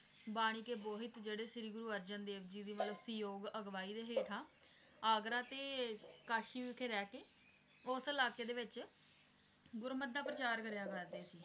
ਬਾਣੀ ਕੇ ਬੋਹਿਥ ਜਿਹੜੇ ਸ਼੍ਰੀ ਅਰਜਨ ਦੇਵ ਜੀ ਦੀ ਮਤਲਬ ਸੀਯੋਗ ਅਗਵਾਈ ਦੇ ਹੇਠਾਂ, ਆਗਰਾ ਤੇ ਕਾਸ਼ੀ ਵਿਖੇ ਰਹਿ ਕੇ, ਉਸ ਇਲਾਕੇ ਦੇ ਵਿਚ, ਗੁਰੁਮਤ ਦਾ ਪ੍ਰਚਾਰ ਕਰਿਆ ਕਰਦੇ ਸੀ।